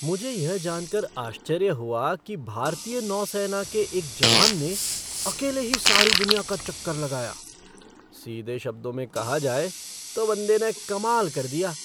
मुझे यह जान कर आश्चर्य हुआ कि भारतीय नौसेना के एक जवान ने अकेले ही सारी दुनिया का चक्कर लगाया। सीधे शब्दों में कहा जाए तो बंदे ने कमाल कर दिया!